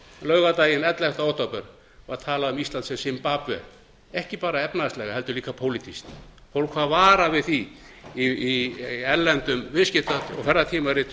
laugardaginn ellefta október var talað um ísland sem simbabve ekki bara efnahagslega heldur líka pólitískt fólk var varað við því í erlendum viðskipta og ferðatímaritum að